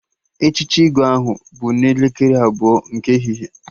Echichi Igwe ahụ bụ n'elekere abụọ nke ehihie